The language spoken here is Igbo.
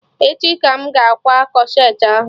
Echi ka m ga-akwa corsetị ahụ